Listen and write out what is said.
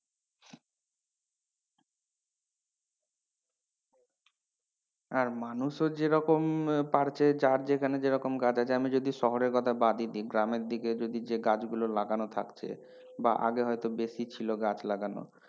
আর মানুষও যেরকম পাড়ছে যার যেখানে যেরকম গাছ আছে আমি যদি শহরের কথা বাদই দিই গ্রামের দিকে হযদি যে গাছগুলো লাগানো থাকছে বা আগে হয়তো বেশি ছিল গাছ লাগানো,